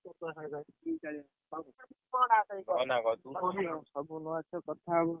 ସବୁଦିନ ଆମେ କଥା ହଉ।